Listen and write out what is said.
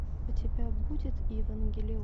у тебя будет евангелион